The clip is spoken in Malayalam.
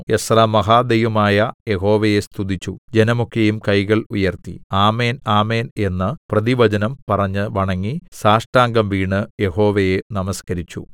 എസ്രാ മഹാദൈവമായ യഹോവയെ സ്തുതിച്ചു ജനമൊക്കെയും കൈകൾ ഉയർത്തി ആമേൻ ആമേൻ എന്ന് പ്രതിവചനം പറഞ്ഞ് വണങ്ങി സാഷ്ടാംഗം വീണ് യഹോവയെ നമസ്കരിച്ചു